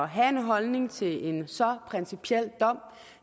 have en holdning til en så principiel dom